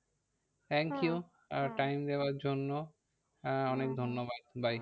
Thank you time দেওয়ার জন্য আহ অনেক ধন্যবাদ। bye